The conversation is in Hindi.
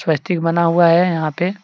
बना हुआ है यहां पे।